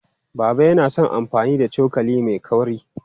Baba yana son amfani da cokali mai kaurin.